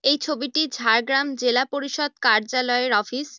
এই ছবি টি ঝাড়গ্রাম জেলা পরিষদের কার্যালয়ের অফিস ।